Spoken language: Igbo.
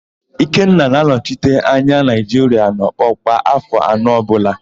Ikenna na-anọchite anya Naịjiria n'ọkpọ kwa áfọ̀ anọ ọbụla